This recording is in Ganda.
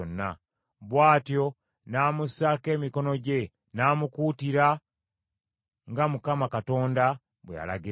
Bw’atyo n’amussaako emikono gye, n’amukuutira, nga Mukama Katonda bwe yalagira Musa.